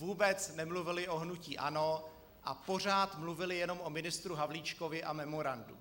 Vůbec nemluvili o hnutí ANO a pořád mluvili jenom o ministru Havlíčkovi a memorandu.